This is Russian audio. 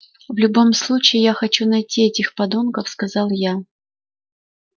в любом случае я хочу найти этих подонков сказал я